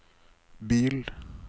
bil